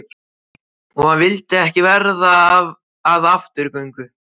Og hann vildi ekki verða að afturgöngu.